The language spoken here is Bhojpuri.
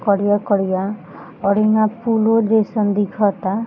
करिया करिया और इहां फुलो जइसन दिखता |